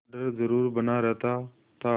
डर जरुर बना रहता था